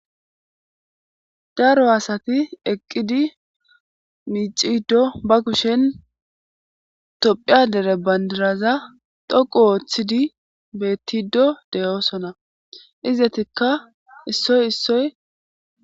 Daro asati eqqidi miiciddo ba kushen tophiya dere bandiraza doqu ooththidi bettido deyoosona izetikka issoy issoy.